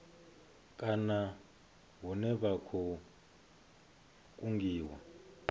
kana hune vha khou kungiwa